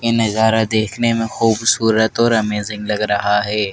ये नजारा देखने में खूबसूरत और अमेजिंग लग रहा हैं।